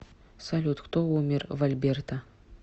салют кто умер в альберта